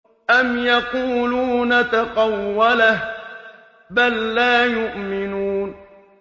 أَمْ يَقُولُونَ تَقَوَّلَهُ ۚ بَل لَّا يُؤْمِنُونَ